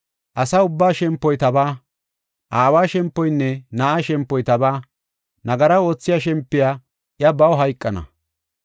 Asa ubbaa shempoy tabaa; aawa shempoynne na7aa shempoy tabaa. Nagara oothiya shempoy i, baw hayqana.